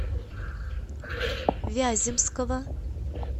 вяземского